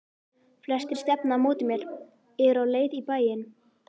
Flestir stefna á móti mér, eru á leið í bæinn.